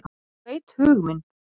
Hún veit hug minn.